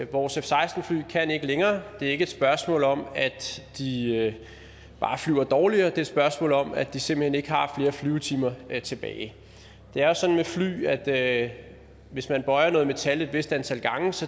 vores f seksten fly kan ikke længere det er ikke et spørgsmål om at de bare flyver dårligere det spørgsmål om at de simpelt hen ikke har flere flyvetimer tilbage det er jo sådan med fly at at hvis man bøjer noget metal et vist antal gange så